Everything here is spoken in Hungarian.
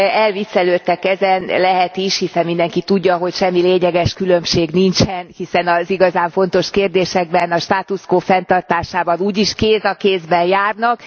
Elviccelődtek ezen, lehet is, hiszen mindenki tudja, hogy semmi lényeges különbség nincsen, hiszen az igazán fontos kérdésekben a status quo fenntartásában úgyis kéz a kézben járnak.